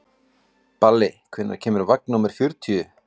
Balli, hvenær kemur vagn númer fjörutíu?